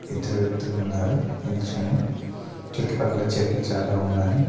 ఇద్దరు వ్యక్తులున్నారు నిల్చొని చుట్టుపక్కల చెట్లు చాలా ఉన్నాయి.